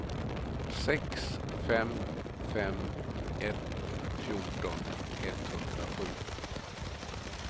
sex fem fem ett fjorton etthundrasju